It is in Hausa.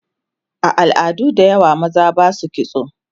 a al'adu da yawa maza Basu kitso